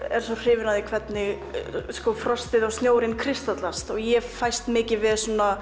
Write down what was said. er svo hrifin af því hvernig frostið og snjórinn kristallast og ég fæst mikið við